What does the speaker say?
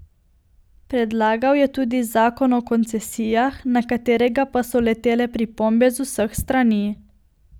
Predlagal je tudi zakon o koncesijah, na katerega pa so letele pripombe z vseh strani.